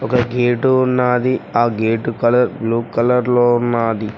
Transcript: ఒక గేటు ఉన్నాది ఆ గేటు కలర్ బ్లూ కలర్ లో ఉన్నాది.